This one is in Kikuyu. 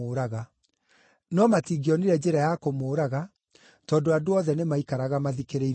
No matingĩonire njĩra ya kũmũũraga, tondũ andũ othe nĩmaikaraga mathikĩrĩirie ciugo ciake.